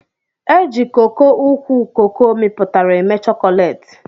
Eji coco ukwu coco miputara eme chokolate.